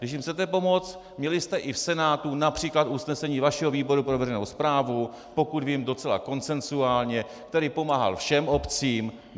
Když jim chcete pomoci, měli jste i v Senátu například usnesení vašeho výboru pro veřejnou správu, pokud vím, docela konsenzuálně, který pomáhal všem obcím.